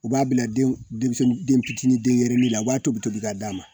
U b'a bila denmisɛnden fitinin u b'a tobi tobi ka d'a ma